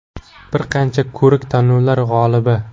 Bir qancha ko‘rik-tanlovlar g‘olibi.